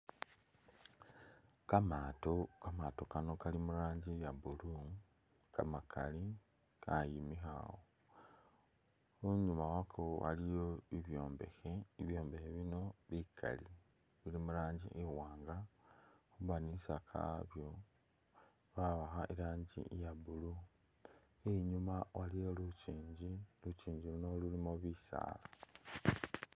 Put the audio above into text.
Kamato kamatokano kali murangi iya’blue kamakali kayimikha , inyuma wako iliyo bibyombekhe , ibyombekhe bino bikali bili murangi iwanga , kamadinisa kabyo bawakha Irangi iya’blue , inyuma waliyo lukyinji , lukyinji luno lulimo bisala